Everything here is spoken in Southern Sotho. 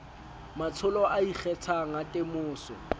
matsholo a ikgethang a temoso